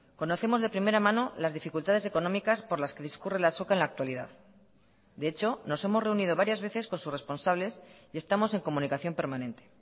conocemos de primera mano las dificultades económicas por las que discurre la azoka en la actualidad de hecho nos hemos reunido varias veces con sus responsables y estamos en comunicación permanente